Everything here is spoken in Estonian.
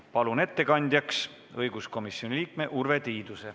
Palun ettekandjaks õiguskomisjoni liikme Urve Tiiduse.